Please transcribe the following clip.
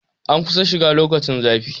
An kusan shiga lokacin zafi